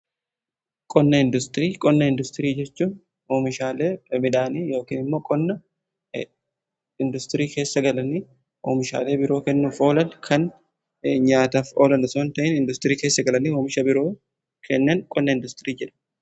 Qonna industirii jechuun oomishaalee midhaanii yookaan immoo qonna industirii keessa galanii oomishaalee biroo kennuuf oolan kan nyaataaf oolan osoon ta'in industirii keessa galanii oomisha biroo kennan qonna industirii jedhamu.